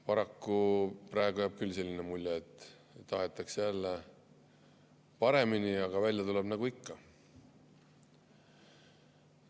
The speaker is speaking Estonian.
Paraku praegu jääb küll selline mulje, et tahetakse jälle paremini, aga välja tuleb nagu ikka.